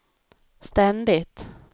ständigt